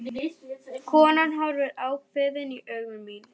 Konan horfir ákveðin í augu mín.